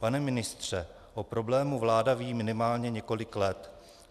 Pane ministře, o problému vláda ví minimálně několik let.